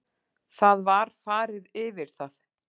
Það var farið yfir það